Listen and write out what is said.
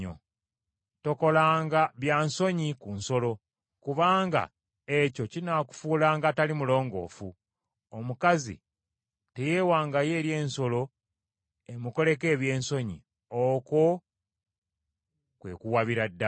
“ ‘Tokolanga bya nsonyi ku nsolo kubanga ekyo kinaakufuulanga atali mulongoofu. Omukazi teyeewangayo eri ensolo emukoleko ebyensonyi, okwo kwe kuwabira ddala.